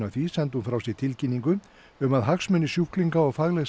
af því sendi hún frá sér tilkynningu um að hagsmunir sjúklinga og faglegt